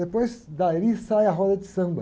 Depois dali sai a roda de samba.